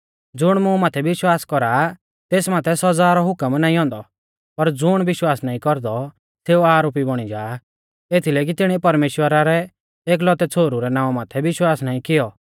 ज़ुण मुं माथै विश्वास कौरा आ तेस माथै सौज़ा रौ हुकम नाईं औन्दौ पर ज़ुण विश्वास नाईं कौरदौ सेऊ आरोपी बौणी जा एथीलै की तिणीऐ परमेश्‍वरा रै एकलौतै छ़ोहरु रै नावां माथै विश्वास नाईं कियौ